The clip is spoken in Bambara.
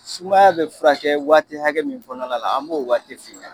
Sumaya be furakɛ waati hakɛ min kɔnɔna la an b'o waati f'i ɲɛna